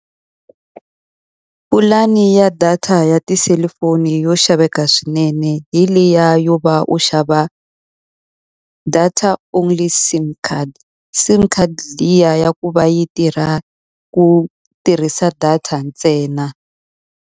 Pulani ya data ya tiselifoni yo xaveka swinene hi liya yo va u xava data only SIM CARD. SIM card liya ya ku va yi tirha ku tirhisa data ntsena.